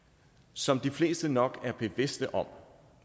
som de fleste nok er bevidste om